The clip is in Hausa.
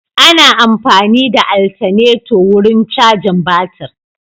Ana amfani da altaneto wurin cajin batir.